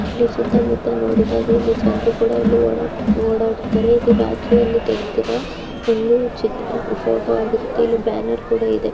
ಸುತ್ತ ಮುತ್ತ ನೋಡುದ್ರೆ ಜನರು ಕೊಡ ಇಲ್ಲಿ ಓಡಾಡ್ತಾರೆ ಇದು ರಾತ್ರಿ ಅಲ್ಲಿ ತೆಗ್ದಿರೋ ಚಿತ್ರ ಫೋಟೋ ಆಗಿರುತ್ತೆ ಇಲ್ಲಿ ಬ್ಯಾನರ್ ಕೂಡ ಇದೆ.